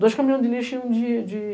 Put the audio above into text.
Dois caminhões de lixo e um de de